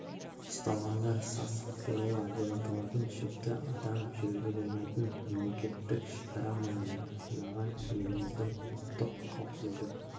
ұсталғандар сасық ферула деп аталатын шөпті адам жүруге болмайтын мемлекеттік шекара маңында жинаған еліміздің ұлттық қауіпсіздік